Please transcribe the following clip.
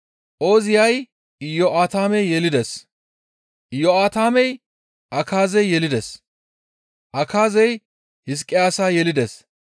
Ooziyay Iyo7aatame yelides; Iyo7aatamey Akaaze yelides; Akaazey Hizqiyaasa yelides;